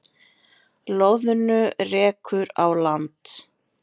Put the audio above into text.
Loðnu rekur á land